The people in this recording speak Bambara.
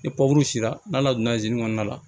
Ni sera n'a la donna kɔnɔna la